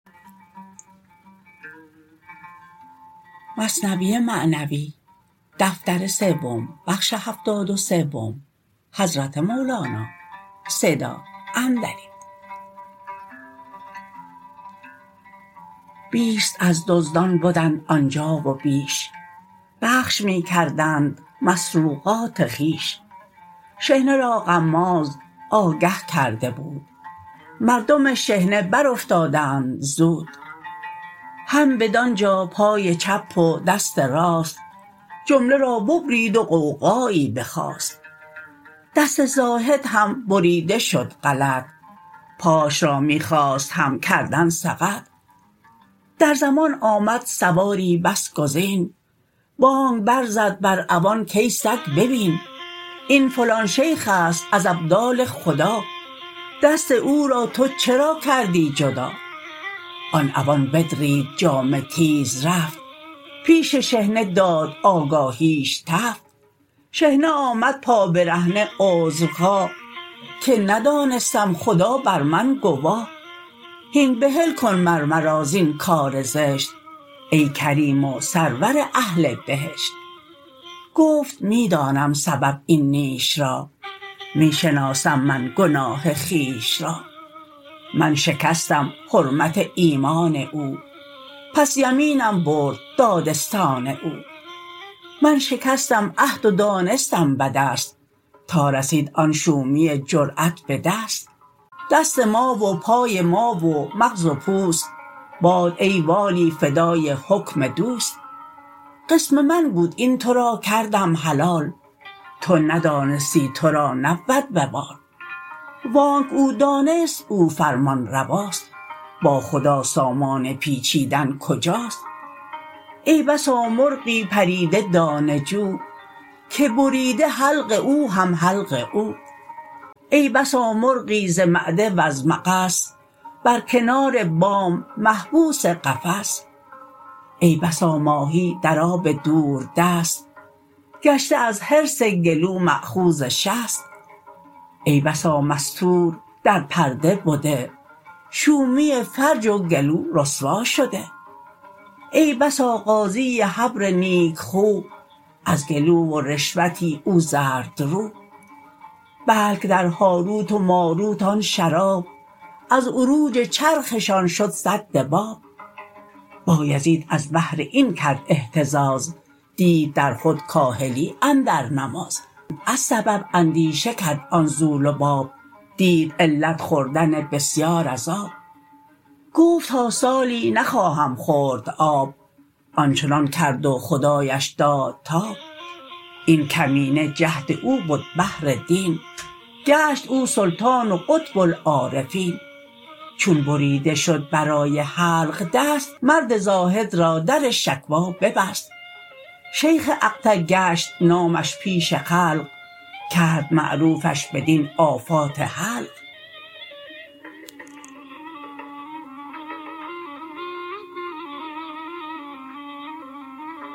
بیست از دزدان بدند آنجا و بیش بخش می کردند مسروقات خویش شحنه را غماز آگه کرده بود مردم شحنه بر افتادند زود هم بدان جا پای چپ و دست راست جمله را ببرید و غوغایی بخاست دست زاهد هم بریده شد غلط پاش را می خواست هم کردن سقط در زمان آمد سواری بس گزین بانگ بر زد بر عوان کای سگ ببین این فلان شیخست از ابدال خدا دست او را تو چرا کردی جدا آن عوان بدرید جامه تیز رفت پیش شحنه داد آگاهیش تفت شحنه آمد پا برهنه عذرخواه که ندانستم خدا بر من گواه هین بحل کن مر مرا زین کار زشت ای کریم و سرور اهل بهشت گفت می دانم سبب این نیش را می شناسم من گناه خویش را من شکستم حرمت ایمان او پس یمینم برد دادستان او من شکستم عهد و دانستم بدست تا رسید آن شومی جرات به دست دست ما و پای ما و مغز و پوست باد ای والی فدای حکم دوست قسم من بود این تو را کردم حلال تو ندانستی تو را نبود وبال و آنک او دانست او فرمان رواست با خدا سامان پیچیدن کجاست ای بسا مرغی پریده دانه جو که بریده حلق او هم حلق او ای بسا مرغی ز معده وز مغص بر کنار بام محبوس قفس ای بسا ماهی در آب دوردست گشته از حرص گلو ماخوذ شست ای بسا مستور در پرده بده شومی فرج و گلو رسوا شده ای بسا قاضی حبر نیک خو از گلو و رشوتی او زردرو بلک در هاروت و ماروت آن شراب از عروج چرخشان شد سد باب بایزید از بهر این کرد احتراز دید در خود کاهلی اندر نماز از سبب اندیشه کرد آن ذو لباب دید علت خوردن بسیار از آب گفت تا سالی نخواهم خورد آب آنچنان کرد و خدایش داد تاب این کمینه جهد او بد بهر دین گشت او سلطان و قطب العارفین چون بریده شد برای حلق دست مرد زاهد را در شکوی ببست شیخ اقطع گشت نامش پیش خلق کرد معروفش بدین آفات حلق